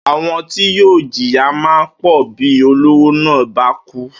Àwo̩n ti yóò jìyà máa pò̩ bí olówó náà bá kú